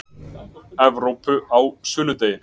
Evrópu á sunnudegi.